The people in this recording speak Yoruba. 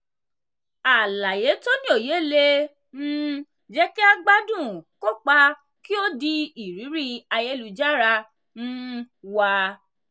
àlàyé tó ní òye le um jẹ́ kí a gbádùn kópa kí o di ìrírí ayélujára um wa.